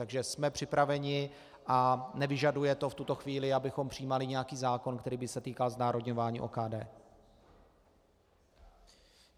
Takže jsme připraveni a nevyžaduje to v tuto chvíli, abychom přijímali nějaký zákon, který by se týkal znárodňování OKD.